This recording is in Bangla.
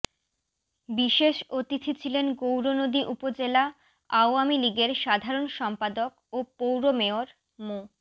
বিশেষ অতিথি ছিলেন গৌরনদী উপজেলা আওয়ামী লীগের সাধারণ সম্পাদক ও পৌর মেয়র মো